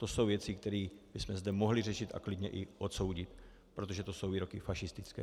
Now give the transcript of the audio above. To jsou věci, které bychom zde mohli řešit a klidně i odsoudit, protože to jsou výroky fašistické.